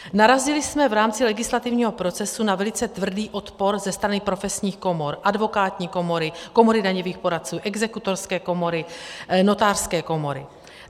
Narazili jsme v rámci legislativního procesu na velice tvrdý odpor ze strany profesních komor - advokátní komory, Komory daňových poradců, Exekutorské komory, Notářské komory.